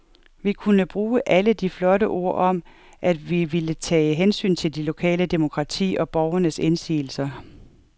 Vi kunne bruge alle de flotte ord om, at vi ville tage hensyn til det lokale demokrati og borgernes indsigelser.